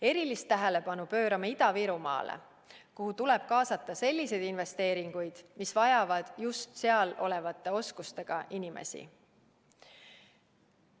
Erilist tähelepanu pöörame Ida-Virumaale, kuhu tuleb kaasata selliseid investeeringuid, mis vajavad just seal elavate inimeste oskusi.